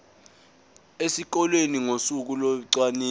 esikoleni ngosuku locwaningo